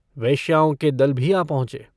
वेश्याओं के दल भी आ पहुंचे।